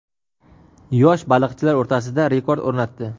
yosh baliqchilar o‘rtasida rekord o‘rnatdi.